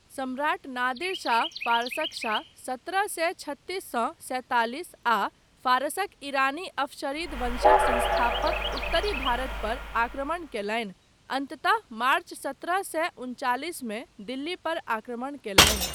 सम्राट नादिर शाह, फारसक शाह 'सत्रह सए छत्तिस सँ सैंतालिस' आ फारसक ईरानी अफशरीद वंशक संस्थापक उत्तरी भारत पर आक्रमण कयलनि, अन्ततः मार्च सत्रह सए उनचालिसमे दिल्ली पर आक्रमण कयलनि।